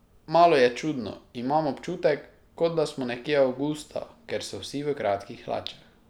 Malo je čudno, imam občutek, kot da smo nekje avgusta, ker so vsi v kratkih hlačah.